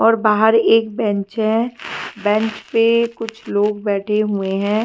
और बाहर एक बेंच है बेंच पे कुछ लोग बैठे हुए है।